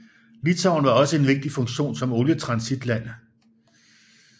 Litauen har også en vigtig funktion som olietransitland